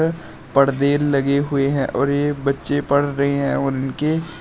पर्दे लगे हुए हैं और ये बच्चे पढ़ रहे हैं उनके--